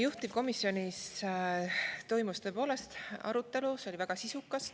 Juhtivkomisjonis toimus tõepoolest arutelu, see oli väga sisukas.